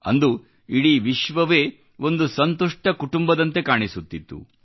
ಅಂದು ಇಡೀ ವಿಶ್ವವೇ ಒಂದು ಸಂತುಷ್ಟ ಕುಟುಂಬದಂತೆ ಕಾಣಿಸುತ್ತಿತ್ತು